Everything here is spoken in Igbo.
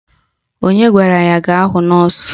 Onye gwara ya gaa hụ nọọsụ?